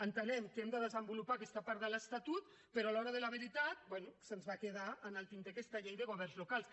entenem que hem de desenvolupar aquesta part de l’estatut però a l’hora de la veritat bé se’ns va quedar en el tinter aquesta llei de governs locals